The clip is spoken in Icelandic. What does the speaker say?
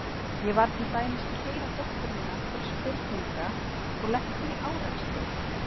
Ég var til dæmis að keyra dóttur mína til spurninga og lenti í árekstri.